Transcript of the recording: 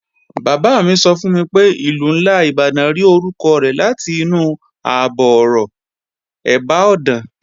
Bàbá mi sọ fún mi pé Ìlú ńlá Ìbàdàn rí orúkọ rẹ̀ látinú àbọ̀-ọ̀rọ̀, "ẹ̀bá ọ̀dàn"